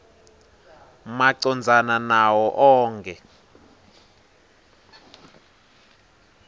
macondzana nawo onkhe